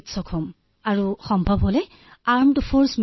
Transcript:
আচ্ছা আচ্ছা